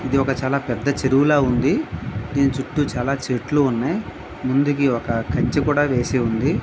ఇది ఒక చాలా పెద్ద చెరువులా ఉంది. దీని చుట్టు చాలా చెట్లు ఉన్నాయ్. ముందుకి ఒక కంచి కూడా వేసి ఉంది.